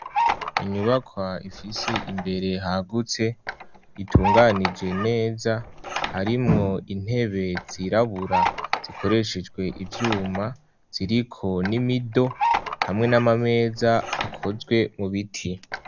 Inyubakwa ifise imbere hagutse itunganije neza, harimwo intebe zirabura zikoreshejwe ivyuma ziriko n'imido hamwe n'amameza akozwe mu biti.